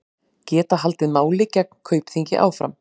Geta haldið máli gegn Kaupþingi áfram